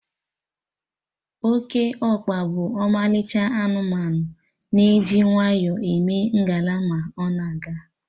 Okeokpa bụ ọmalịcha anụmanụ, na-eji nwayọ eme ngala ma ọ na-aga